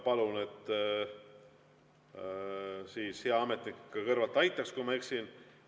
Palun, et hea ametnik kõrval aitaks, kui ma eksin.